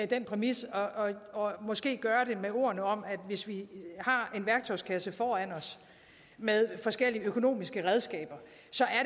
den præmis og måske gøre det med ordene om at hvis vi har en værktøjskasse foran os med forskellige økonomiske redskaber